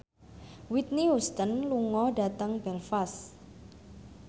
Whitney Houston lunga dhateng Belfast